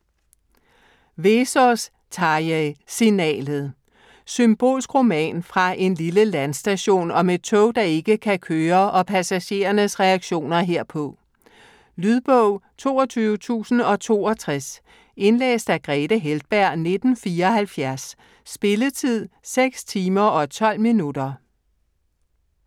Vesaas, Tarjei: Signalet Symbolsk roman fra en lille landstation om et tog, der ikke kan køre, og passagerernes reaktioner herpå. Lydbog 22062 Indlæst af Grethe Heltberg, 1974. Spilletid: 6 timer, 12 minutter.